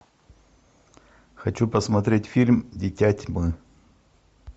хочу посмотреть фильм дитя тьмы